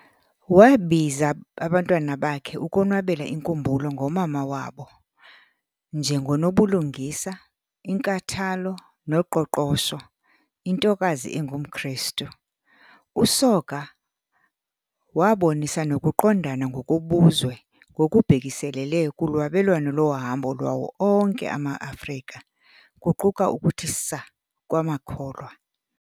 Wabiza abantwana bakhe ukonwabela inkumbulo ngomama wabo "njengonobulungisa, inkathalo noqoqosho, intokazi engumKrestu". USoga wabonisa nokuqondana ngokobuzwe ngokubhekiselele kulwabelwano lohambo lwawo onke ama-Afrika, kuquka ukuthi saa kwamakholwa.